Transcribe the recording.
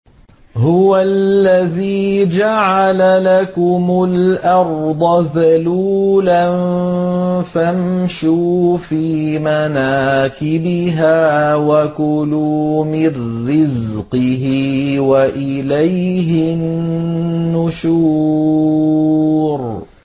هُوَ الَّذِي جَعَلَ لَكُمُ الْأَرْضَ ذَلُولًا فَامْشُوا فِي مَنَاكِبِهَا وَكُلُوا مِن رِّزْقِهِ ۖ وَإِلَيْهِ النُّشُورُ